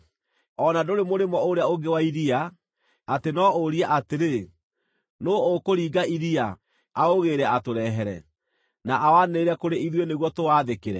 O na ndũrĩ mũrĩmo ũrĩa ũngĩ wa iria, atĩ no ũrie atĩrĩ, “Nũũ ũkũringa iria, aũgĩĩre atũrehere, na awanĩrĩre kũrĩ ithuĩ nĩguo tũwathĩkĩre?”